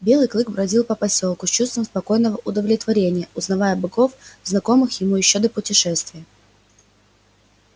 белый клык бродил по посёлку с чувством спокойного удовлетворения узнавая богов знакомых ему ещё до путешествия